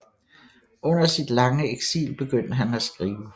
Under sit lange eksil begyndte han at skrive